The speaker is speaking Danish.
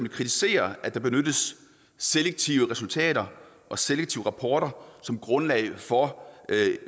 kritisere at der benyttes selektive resultater og selektive rapporter som grundlag for